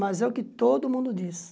Mas é o que todo mundo diz.